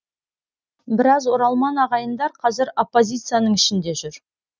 біраз оралман ағайындар қазір оппозицияның ішінде жүр